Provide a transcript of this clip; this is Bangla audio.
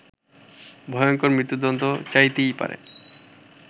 ভয়ঙ্কর মৃত্যুদন্ড চাইতেই পারে